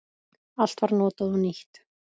Allt var notað og nýtt.